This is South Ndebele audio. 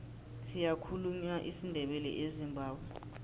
siyakhulunywa isindebele ezimbabwe